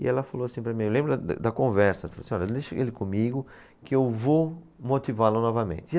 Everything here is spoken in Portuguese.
E ela falou assim para mim, eu lembro da, da conversa, ela falou assim, olha deixa ele comigo que eu vou motivá-lo novamente.